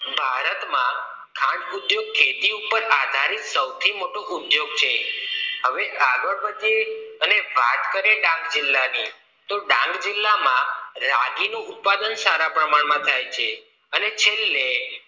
ખાંડ ઉદ્યોગ ખેતી ઉપર આધારિત સૌથી મોટો ઉદ્યોગ છે હવે આગળ વધી અને વાત કરીએ ડાંગ જિલ્લાની તો ડાંગ જિલ્લામાં રાગીનું ઉત્પાદન સારા પ્રમાણમાં થાય છે અને છેલ્લે